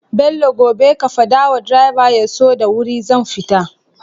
Bello gobe ka fada wa driver yaso da wuri zan fita